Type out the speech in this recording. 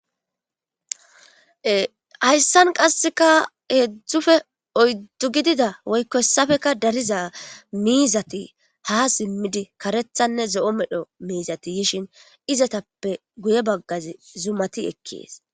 Hayssan qaseke hezhu woyko oydu gidida mizati ha simidi karethanne zo'o medho miizati yishin izetappe guye bagazi zumati ekees.